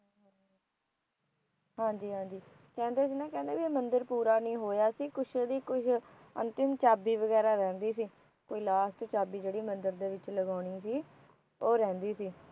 ਹਾਂ ਜੀ ਹਾਂ ਜੀ ਕਹਿੰਦੇ ਸੀ ਨਾ ਕਹਿੰਦੇਬੀ ਇਹ ਮੰਦਿਰ ਪੂਰਾ ਨਹੀ ਹੋਇਆ ਸੀ ਕੁੱਛ ਇਹਦੀ ਕੋਈ ਅੰਤਿਮ ਚਾਬੀ ਵਗੈਰਾ ਰਹਿੰਦੀ ਸੀ ਕੋਈ ਲਾਸਟ ਚਾਬੀ ਜਿਹੜੀ ਮੰਦੀਰ ਦੇ ਵਿਚ ਲਗਾਉਣੀ ਸੀ ਉਹ ਰਹਿੰਦੀ ਸੀ